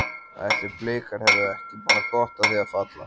Ætli Blikar hefðu ekki bara gott af því að falla?